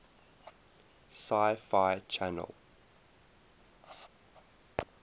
sci fi channel